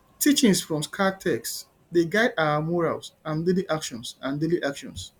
teachings from sacred texts dey guide our morals and daily actions and daily actions